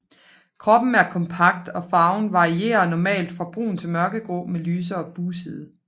Kroppen er kompakt og farven varierer normalt fra brun til mørkegrå med lysere bugside